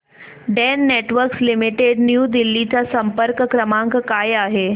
Den Networks Limited New Delhi चा संपर्क क्रमांक काय आहे